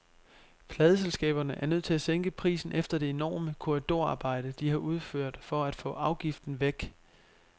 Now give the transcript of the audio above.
Pladeselskaberne er nødt til at sænke prisen efter det enorme korridorarbejde, de har udført for at få afgiften væk.